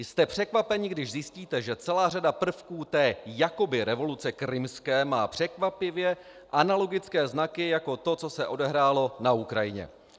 Jste překvapeni, když zjistíte, že celá řada prvků té jakoby revoluce krymské má překvapivě analogické znaky jako to, co se odehrálo na Ukrajině.